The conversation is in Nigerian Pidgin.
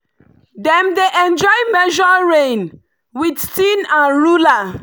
dem dey enjoy measure rain with tin and ruler.